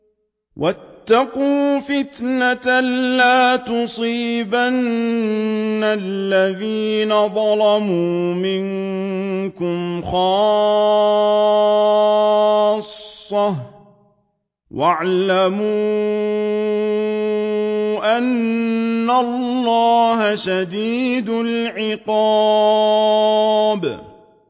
وَاتَّقُوا فِتْنَةً لَّا تُصِيبَنَّ الَّذِينَ ظَلَمُوا مِنكُمْ خَاصَّةً ۖ وَاعْلَمُوا أَنَّ اللَّهَ شَدِيدُ الْعِقَابِ